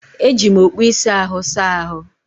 Eji m okpu ịsa ahụ saa ahụ́.